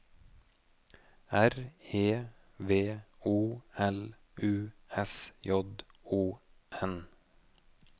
R E V O L U S J O N